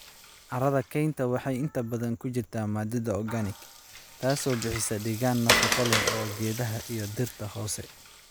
Carrada kaynta waxay inta badan ku jirtaa maadada organic, taasoo bixisa deegaan nafaqo leh oo geedaha iyo dhirta hoose.